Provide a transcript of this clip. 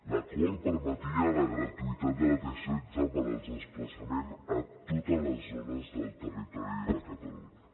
l’acord permetia la gratuïtat de la t setze per als desplaçaments a totes les zones del territori de catalunya